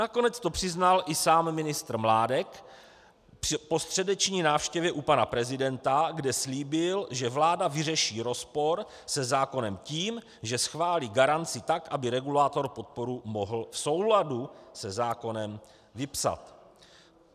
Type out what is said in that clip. Nakonec to přiznal i sám ministr Mládek po středeční návštěvě u pana prezidenta, kde slíbil, že vláda vyřeší rozpor se zákonem tím, že schválí garanci tak, aby regulátor podporu mohl v souladu se zákonem vypsat.